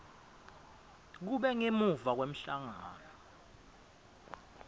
kube ngemuva kwemhlangano